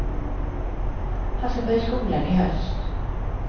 Han ska börja skolan i höst.